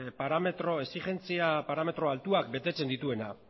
exigentzia parametro altuak betetzen dituena